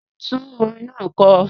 Tún orin náà kọ!